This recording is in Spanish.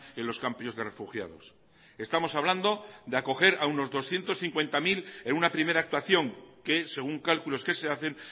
en los campos de refugiados estamos hablando de acoger a unos doscientos cincuenta mil en una primera actuación que según cálculos que se hacen